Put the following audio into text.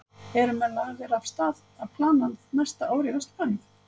Eru menn lagðir af stað að plana næsta ár í Vesturbænum?